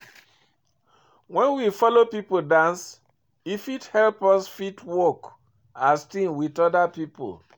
When we follow pipo dance, e fit help us fit work as team with oda pipo